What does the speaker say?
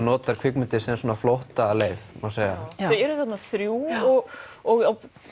notar kvikmyndir sem svona flóttaleið þau eru þarna þrjú og